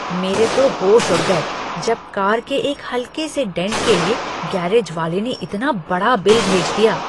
मेरे तो होश उड़ गए जब कार के एक हल्के से डेंट के लिए गैरेज वाले ने इतना बड़ा बिल भेज दिया।